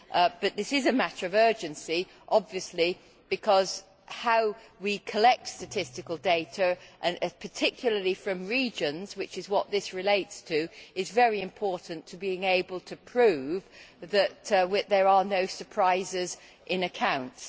Obviously this is a matter of urgency, because how we collect statistical data and particularly from regions, which is what this relates to is very important in being able to prove that there are no surprises in accounts.